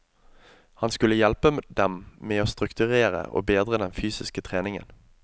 Han skulle hjelpe dem med å strukturere og bedre den fysiske treningen.